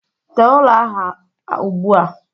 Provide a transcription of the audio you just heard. Tee ụlọ ahụ ugbu a.